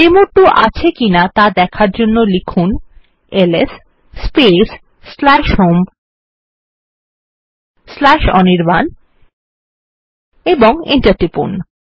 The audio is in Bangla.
ডেমো2 আছে কিনা দেখার জন্য লিখুন এলএস স্পেস হোম অনির্বাণ এবং এন্টার টিপুন